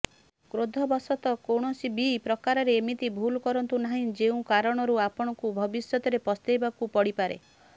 କ୍ରୋଧ ବଶତଃ କୌଣସିବି ପ୍ରକାରର ଏମିତି ଭୁଲ କରନ୍ତୁ ନାହିଁ ଯେଉଁ କାରଣରୁ ଆପଣଙ୍କୁ ଭବିଷ୍ୟତରେ ପସ୍ତେଇବାକୁ ପଡିପାରେ